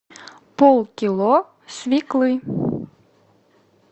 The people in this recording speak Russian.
полкило свеклы